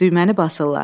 Düyməni basırlar.